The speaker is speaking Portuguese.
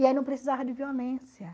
E aí não precisava de violência.